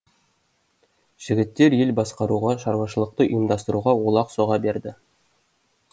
жігіттер ел басқаруға шаруашылықты ұйымдастыруға олақ соға берді